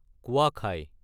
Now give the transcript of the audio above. কোৱাখাই